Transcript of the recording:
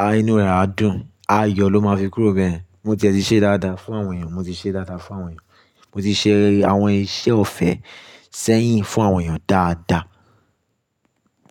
á, inú rẹ̀ á dùn. Ayọ̀ ló máa fi kúrò n bẹ́yẹ̀n. Mo tí ẹ̀ ti ṣe dáadáa fún àwọn èèyàn, mo ti ṣe dáadáa fún àwọn èèyàn. Mo ti ṣe àwọn iṣẹ́ ọ̀fẹ́ sẹ́yìn fún àwọn èèyàn dáadáa.